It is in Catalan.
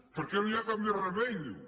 perquè no hi ha cap més remei diu